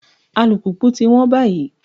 Alùpùpù ti wọ́n báyìí.